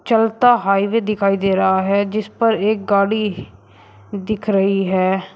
चलता हाइवे दिखाई दे रहा है जिस पर एक गाड़ी दिख रही है।